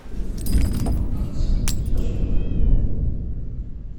аксане музыченко